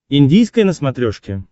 индийское на смотрешке